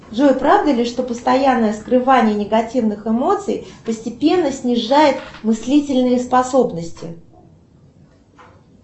джой правда ли что постоянное скрывание негативных эмоций постепенно снижает мыслительные способности